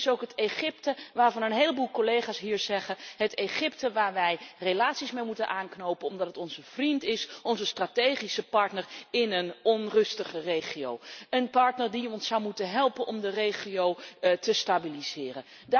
Dit is ook het Egypte waarvan een heleboel collega's hier zeggen het Egypte waar wij relaties mee moeten aanknopen omdat het onze vriend is, onze strategische partner in een onrustige regio, een partner die ons zou moeten helpen om de regio te stabiliseren.